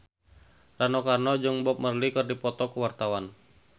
Rano Karno jeung Bob Marley keur dipoto ku wartawan